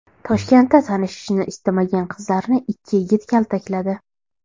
Toshkentda tanishishni istamagan qizlarni ikki yigit kaltakladi.